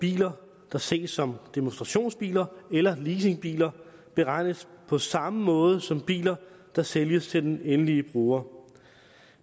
biler der sælges som demonstrationsbiler eller leasingbiler beregnes på samme måde som biler der sælges til den endelige bruger